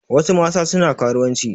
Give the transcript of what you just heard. Wasu mata suna karuwanci.